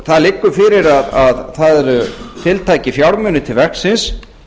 það liggur fyrir að það eru tiltækir fjármunir til verksins